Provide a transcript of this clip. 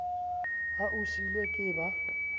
ha o seilwe ke ba